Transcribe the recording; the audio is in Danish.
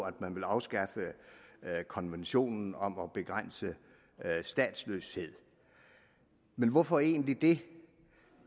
at man vil afskaffe konventionen om at begrænse statsløshed men hvorfor egentlig det